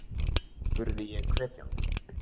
spurði ég hvetjandi.